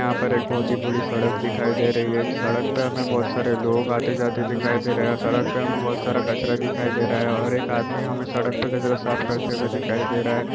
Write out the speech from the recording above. यहाँ पर एक बहुत ही बड़ी सड़क दिखाई दे रही है सड़क पर हमें बहुत सारे लोग आते -जाते दिखाई दे रहे हैं सड़क पर हमें बहुत सारा कचरा दिखाई दे रहा है और एक आदमी हमें सड़क पर कचरा साफ करते हुए दिखाई दे रहा है।